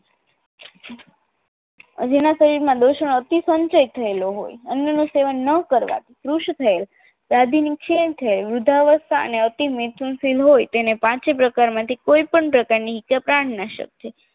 જેના શરીરમાં દોષણો અતિ સંચિત થયેલો હોય અન્નનું સેવન ન કરવાથી કૃશ થયેલ દાદીને ક્ષણ થયેલ વૃદ્ધાવસ્થા અને અતિ મિથુનશીલ હોય તેને પાંચે પ્રકારમાંથી કોઈ પણ પ્રકારની ઈજા પ્રાણનાશક છે